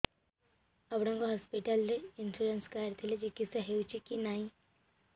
ଆପଣଙ୍କ ହସ୍ପିଟାଲ ରେ insurance card ଥିଲେ ଚିକିତ୍ସା ହେଉଛି କି ନାଇଁ